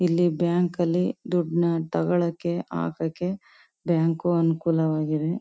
ಇಲ್ಲಿ ಬ್ಯಾಂಕ್ ಅಲ್ಲಿ ದೊಡ್ಡ್ನ ತಗೋಳೋಕೆ ಹಾಕೋಕೆ ಬ್ಯಾಂಕ್ ಅನುಕೂಲವಾಗಿದೆ.